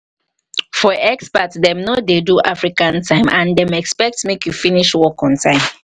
for expats dem no dey do african time and dem expect make you finish work on time